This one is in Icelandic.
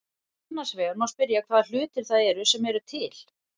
Annars vegar má spyrja hvaða hlutir það eru sem eru til.